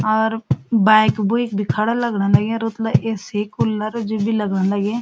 और बाईक बुईक भि खडा लगण लाग्यां ए.सी. कुलर जु बि लगण लगीं।